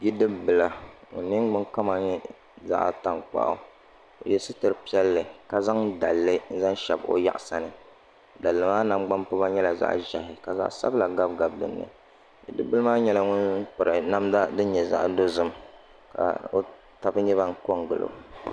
Bidib bila ka o ningbuni kama nyɛ zaɣ tankpaɣu o yɛ sitiri piɛlli ka zaŋ daligu zaŋ shɛbi o yaɣasa ni daligi maa nangbani piba nyɛla zaɣ ʒiɛhi ka zaɣ sabila gabigabi dinni bidib bili maa nyɛla ŋun piri namda din nyɛ zaɣ dozim ka o tabi nyɛ ban ko n gilo